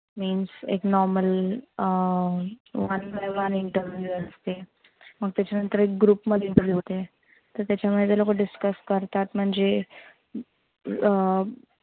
means एक normal अह one time interview असते. मग त्याच्या नंतर एक group मध्ये interview होते. तर त्याच्यामध्ये ते लोक discuss करतात. म्हणजे अं